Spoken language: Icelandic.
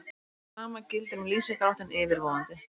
Sama gildir um lýsingarháttinn yfirvofandi.